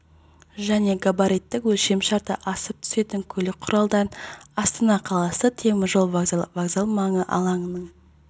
және габариттік өлшемшарты асып түсетін көлік құралдарын астана қаласы темір жол вокзалы вокзал маңы алаңының